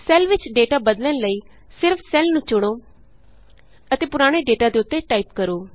cell ਵਿਚ data ਬਦਲਣ ਲਈ ਸਿਰਫ ਸੈੱਲ ਨੂੰ ਚੁਣੋ ਅਤੇ ਪੁਰਾਣੇ ਡੇਟਾ ਦੇ ਉੱਤੇ ਟਾਈਪ ਕਰੋ